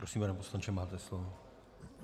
Prosím, pane poslanče, máte slovo.